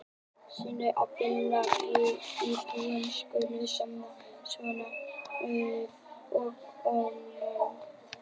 Synd að þessi fína íbúð skuli standa svona auð og ónotuð.